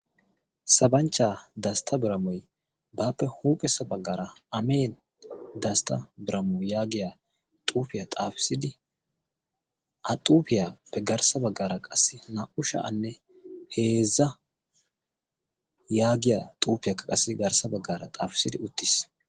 sabanchchaa dastta biramoi baappe huuphessa baggaara amin dastta biramo yaagiya xuufiyaa xaafissidi a xuufiyaappe garssa baggaara qassi naa"u sha7anne heezza yaagiya xuufiyaakka qassi garssa baggaara xaafissidi uttiis.